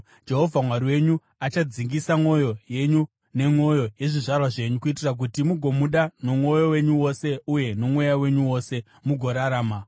Jehovha Mwari wenyu achadzingisa mwoyo yenyu nemwoyo yezvizvarwa zvenyu, kuitira kuti mugomuda nomwoyo wenyu wose uye nomweya wenyu wose, mugorarama.